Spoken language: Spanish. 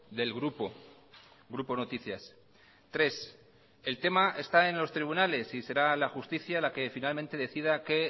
del grupo grupo noticias tres el tema está en los tribunales y será la justicia la que finalmente decida qué